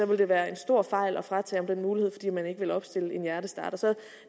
det være en stor fejl at fratage ham den mulighed fordi man ikke ville opstille en hjertestarter